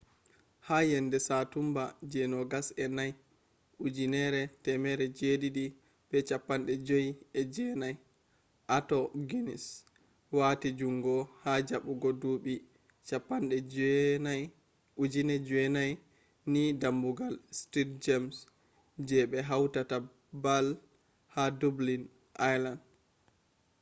ha yende satumba je 24 1759 arthur guinness wati jungo ha jabugo duubi 9000 ni damugal st james je be hautata baal ha dublin ireland